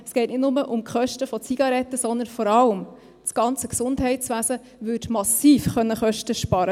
Es geht nicht nur um Zigaretten, sondern vor allem das ganze Gesundheitswesen könnte massiv Kosten sparen.